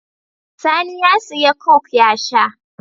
Sani ya siya coke ya sha